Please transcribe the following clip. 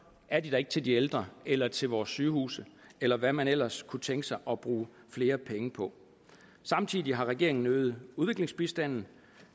er de der ikke til de ældre eller til vores sygehuse eller hvad man ellers kunne tænke sig at bruge flere penge på samtidig har regeringen øget udviklingsbistanden